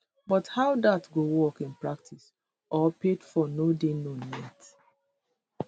but how dat go work in practice or paid for no dey known yet